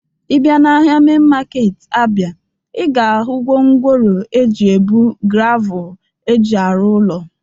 Ị bịa n'ahia mein market Abia, ị ga-ahụ gwongworo eji ebu gravụl eji arụ ụlọ.